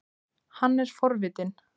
Hann er forvitinn.